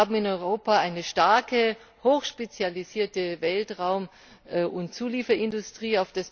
Wir haben in Europa eine starke hochspezialisierte Weltraum und Zulieferindustrie.